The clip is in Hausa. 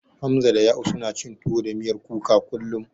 Hamza da Ya'u, suna cin tuwo da miyar kuka kullum.